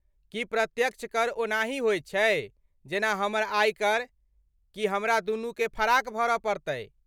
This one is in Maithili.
की प्रत्यक्ष कर ओनाहि होइत छै जेना हमर आयकर, कि हमरा दुनूकेँ फराक भरऽ पड़तै।